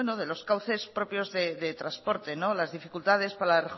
de los cauces propios de transporte las dificultades para la